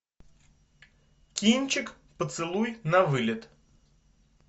кинчик поцелуй навылет